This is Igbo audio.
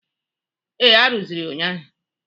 Ee, arụzịrị ya ụnyaahụ